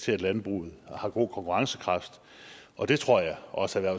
til at landbruget har god konkurrencekraft og det tror jeg også